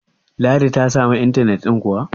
ladi ta samu intanet ɗin kuwa?